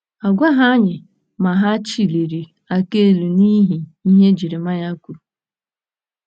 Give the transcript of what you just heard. A gwaghị anyị ma hà chịliri aka elu n'ihi ihe Jeremaya kwuru.